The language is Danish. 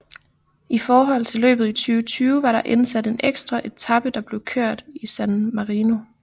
I forhold til løbet i 2020 var der indsat en ekstra etape der blev kørt i San Marino